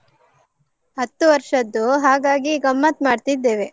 ಹತ್ತು ವರ್ಷದ್ದು, ಹಾಗಾಗಿ ಗಮ್ಮತ್ ಮಾಡ್ತಿದ್ದೇವೆ.